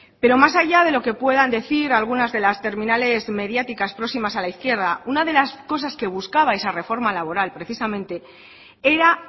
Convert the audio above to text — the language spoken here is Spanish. pero más allá de lo que puedan decir algunas de las terminales mediáticas próximas a la izquierda una de las cosas que buscaba esa reforma laboral precisamente era